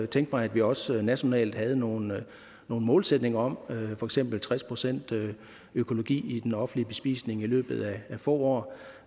tænke mig at vi også nationalt havde nogle målsætninger om for eksempel tres procent økologi i den offentlige bespisning i løbet af få